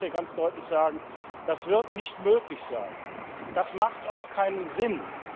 Ich will das hier ganz deutlich sagen Das wird nicht möglich sein. Das macht auch keinen Sinn.